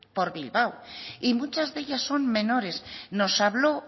por bilbao y muchas de ellas son menores nos habló